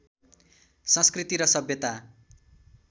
संस्कृति र सभ्यता